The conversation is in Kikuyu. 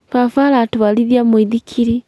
Baba aratũarithia mũithikili